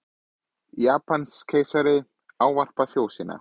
Japanskeisari ávarpar þjóð sína